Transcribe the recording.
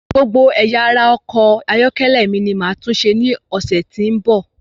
Gbogbo ẹ̀yà ara ọkọ̀ ayọ́kẹ́lẹ́ mi ní máa túnṣe ní ọ̀sẹ̀ tí ń bọ̀.